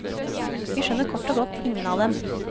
Vi skjønner kort og godt ingen av dem.